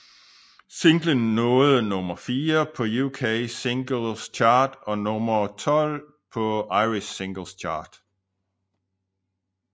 Singlen nåede nummer fire på UK Singles Chart og nummer 12 på Irish Singles Chart